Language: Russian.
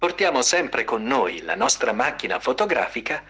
на фотографии